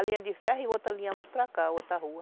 A linha de ferro e outra linha mais para cá, outra rua.